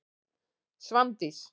Svandís